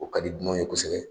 O ka di dunanw ye kosɛbɛ.